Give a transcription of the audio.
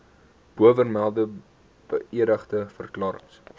bovermelde beëdigde verklarings